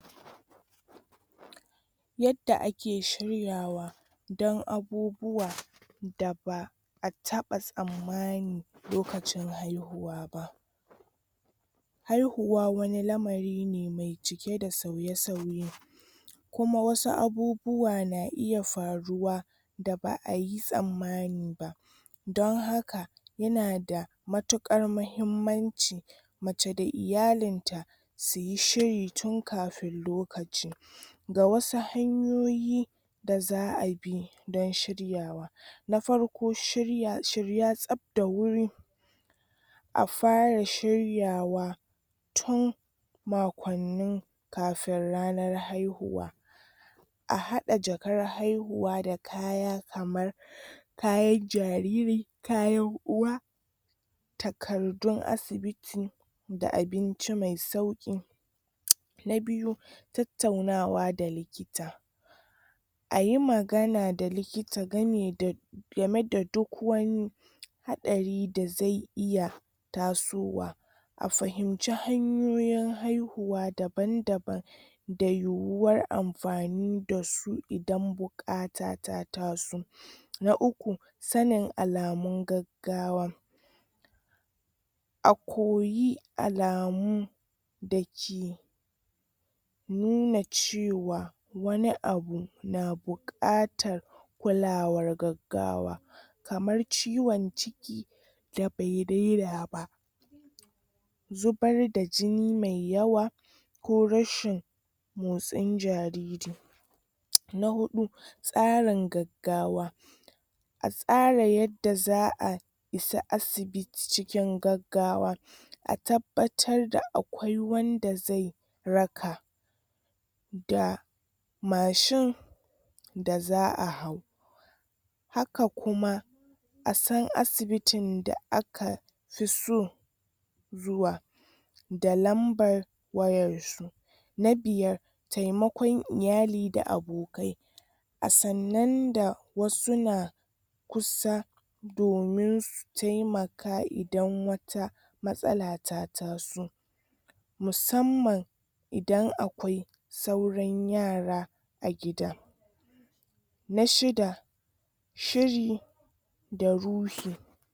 Yadda ake shiryawa dan abubuwa da ba'a taɓa tsanmani lokacin haihuwa ba haihuwa wani lamari ne mai cike da sauye-sauye kuma wasu abubuwa na iya faruwa da ba'a yi tsamani ba don haka yana da mutukar muhimmanci mace da iyalin ta suyi shiri tun kafin lokaci ga wasu hanyoyi da za'a bi don shiryawa na farko shirya, shirya tsaf da wuri a fara shiryawa tun makowanni kafin ranar haihuwa a haɗa jakar haihuwa da kaya kamar kayan jariri kayan uwa takardun asibiti da abinci mai sauki na biyu tattaunawa da likita ayi magana da likita game da game da duk wani haɗari da ze iya tasowa a fahimci hanyoyin haihuwa daban-daban da yuwar amfani dasu idan bukata ta taso na uku sanin alamun gagawa a koyi alamu da ke nuna cewa wani abu na bukatar kulawar gagawa kamar ciwon ciki da bai dena ba zubar da jini mai yawa ko rashin motsin jariri na huɗu tsarin gagawa a tsara yadda za'a isa asibiti cikin gagawa a tabbatar da akwai wanda ze raka da mashin da za'a hau haka kuma a san asibitin da aka fi so zuwa da lambar wayar su na biyar tai makon iyali da abokai a sannan da wasu na kusa domin su taimaka idan wata matsala ta taso musamman idan akwai sauran yara a gida na shida shiri da ruhi.